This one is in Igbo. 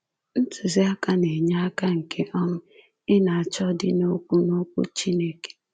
Ntuziaka na-enye aka nke um ị na-achọ dị n'Okwu n'Okwu Chineke.